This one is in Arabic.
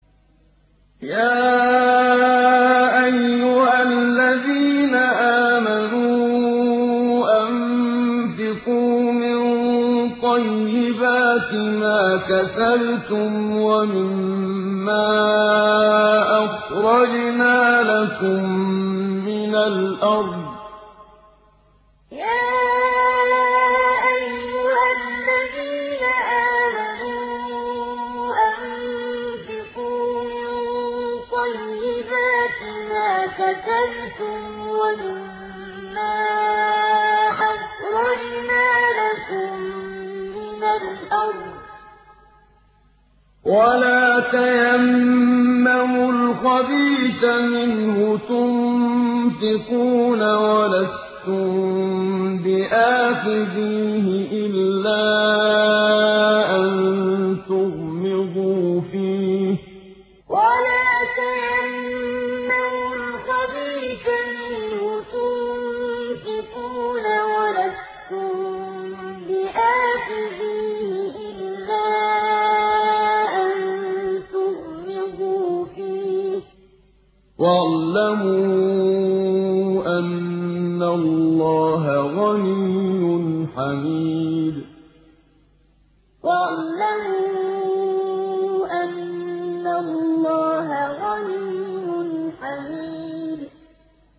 يَا أَيُّهَا الَّذِينَ آمَنُوا أَنفِقُوا مِن طَيِّبَاتِ مَا كَسَبْتُمْ وَمِمَّا أَخْرَجْنَا لَكُم مِّنَ الْأَرْضِ ۖ وَلَا تَيَمَّمُوا الْخَبِيثَ مِنْهُ تُنفِقُونَ وَلَسْتُم بِآخِذِيهِ إِلَّا أَن تُغْمِضُوا فِيهِ ۚ وَاعْلَمُوا أَنَّ اللَّهَ غَنِيٌّ حَمِيدٌ يَا أَيُّهَا الَّذِينَ آمَنُوا أَنفِقُوا مِن طَيِّبَاتِ مَا كَسَبْتُمْ وَمِمَّا أَخْرَجْنَا لَكُم مِّنَ الْأَرْضِ ۖ وَلَا تَيَمَّمُوا الْخَبِيثَ مِنْهُ تُنفِقُونَ وَلَسْتُم بِآخِذِيهِ إِلَّا أَن تُغْمِضُوا فِيهِ ۚ وَاعْلَمُوا أَنَّ اللَّهَ غَنِيٌّ حَمِيدٌ